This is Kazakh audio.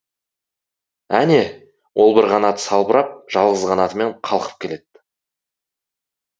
әне ол бір қанаты салбырап жалғыз қанатымен қалқып келеді